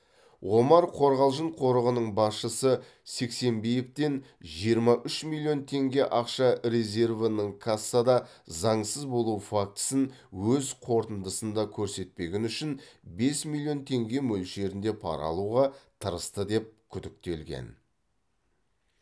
омар қорғалжың қорығының басшысы сексенбиевтен жиырма үш миллион теңге ақша резервінің кассада заңсыз болу фактісін өз қорытындысында көрсетпегені үшін бес миллион теңге мөлшерінде пара алуға тырысты деп күдіктелген